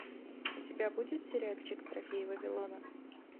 у тебя будет сериальчик трофеи вавилона